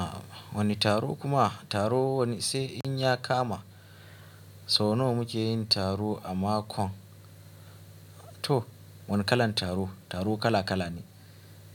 A'a wani taro kuma taro wani sai in ya kama sau nawa muke yin taro a makon to wani kalan taro, taro kala kala ne.